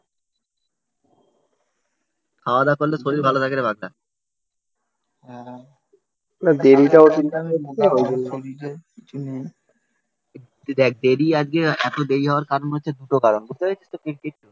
তুই দেখ দেরি আজকে এত দেরি হওয়ার কারণ হচ্ছে দুটো কারণ বুঝতে পেরেছিস তো